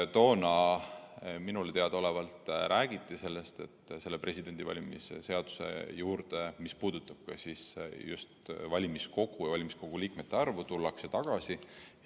Toona minule teadaolevalt räägiti sellest, et Vabariigi Presidendi valimise seaduse juurde, mis puudutab just valimiskogu ja selle liikmete arvu, tullakse tagasi.